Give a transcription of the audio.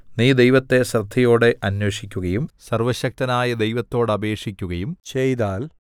നീ ദൈവത്തെ ശ്രദ്ധയോടെ അന്വേഷിക്കുകയും സർവ്വശക്തനായ ദൈവത്തോടപേക്ഷിക്കുകയും ചെയ്താൽ